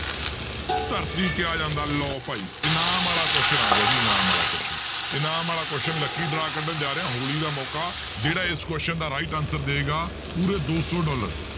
ਧਰਤੀ ਕਿਹਾ ਜਾਂਦਾ ਲਓ ਭਾਈ ਇਨਾਮ ਵਾਲਾ question ਆ ਗਿਆ ਜੀ ਇਨਾਮ ਵਾਲਾ question ਇਨਾਮ ਵਾਲਾ question lucky draw ਕੱਢਣ ਜਾ ਰਿਹਾਂ ਹੋਲੀ ਦਾ ਮੌਕਾ ਜਿਹੜਾ ਇਸ question ਦਾ right answer ਦਏਗਾ ਪੂਰੇ ਦੋ ਸੌ ਡਾਲਰ